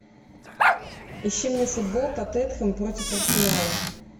ищи мне футбол тоттенхэм против арсенала